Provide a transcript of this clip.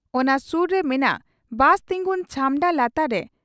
ᱚᱱᱟ ᱥᱩᱨ ᱨᱮ ᱢᱮᱱᱟᱜ ᱵᱟᱥ ᱛᱤᱝᱜᱩᱱ ᱪᱷᱟᱢᱰᱟ ᱞᱟᱛᱟᱨ ᱨᱮ